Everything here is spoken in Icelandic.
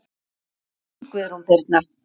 Þín, Guðrún Birna.